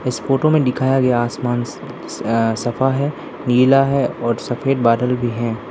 इस फोटो में दिखाया गया आसमान स अ सफा है नीला है और सफेद बादल भी हैं।